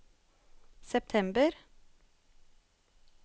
september